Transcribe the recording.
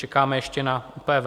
Čekáme ještě na ÚPV.